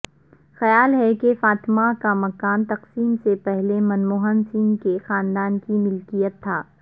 خیال ہے کہ فاطمہ کا مکان تقسیم سے پہلےمنموہن سنگھ کے خاندان کی ملکیت تھا